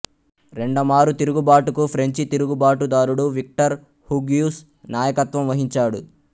రెండమారు తిరుగుబాటుకు ఫ్రెంచి తిరుగుబాటుదారుడు Victor Hugues నాయకత్వం వహించాడు